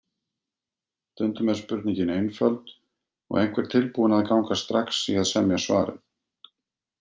Stundum er spurningin einföld og einhver tilbúinn að ganga strax í að semja svarið.